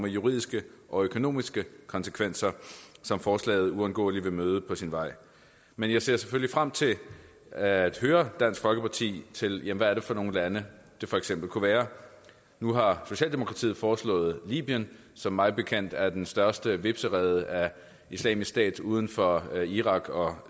juridiske og økonomiske konsekvenser som forslaget uundgåeligt vil møde på sin vej men jeg ser selvfølgelig frem til at høre dansk folkeparti til hvad det er for nogle lande det for eksempel kunne være nu har socialdemokratiet foreslået libyen som mig bekendt er den største hvepserede af islamisk stat uden for irak og